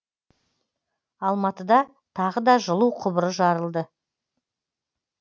алматыда тағы да жылу құбыры жарылды